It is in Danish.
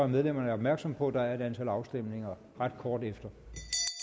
medlemmerne opmærksom på at der er et antal afstemninger ret kort tid efter